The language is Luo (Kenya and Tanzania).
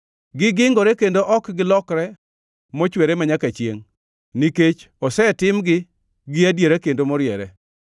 Gingirore kendo ok gilokre mochwere manyaka chiengʼ, nikech osetimgi gi adiera kendo moriere.